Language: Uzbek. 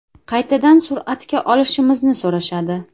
Qaytadan suratga olishimizni so‘rashadi.